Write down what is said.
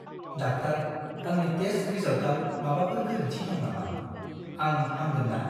Doctor, आंनि test रिजाल्टआव माबाफोर गोरोन्थि दं नामा? आं हामगोन ना?